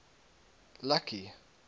lucky